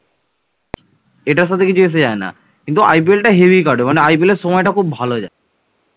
এটার সাথে কিছু এস যায় না। কিন্ত IPL টা হেবি কাটবে মানে IPL এর সময়টা খুব ভালো যায়